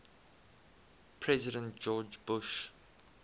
president george bush